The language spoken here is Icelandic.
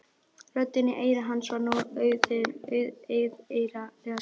Röddinni í eyra hans var nú auðheyrilega skemmt.